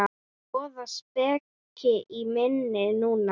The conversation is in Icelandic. Voða speki í minni núna.